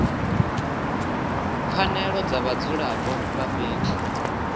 pfanelo dza vhadzulapo vha fhethu